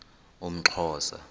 umxhosa